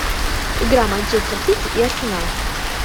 игра манчестер сити и арсенал